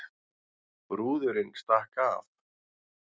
Brúðurin stakk af